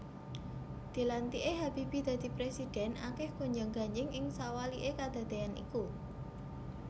Dilantiké Habibie dadi prèsidhèn akèh gonjang ganjing ing sawaliké kedadéan iku